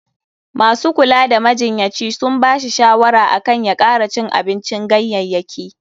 Masu kula da majinyaci sun ba shi shawara akan ya kara cin abincin ganyayyaki.